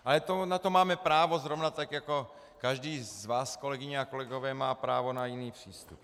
Ale na to máme právo zrovna tak jako každý z vás, kolegyně a kolegové, má právo na jiný přístup.